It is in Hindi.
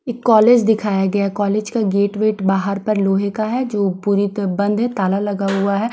क कॉलेज दिखाया गया कॉलेज का गेट वेट बाहर पर लोहे का है जो पूरे तरह बंद है ताला लगा हुआ है।